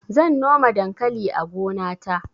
zan noma dankali a gona ta